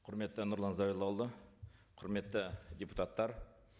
құрметті нұрлан зайроллаұлы құрметті депутаттар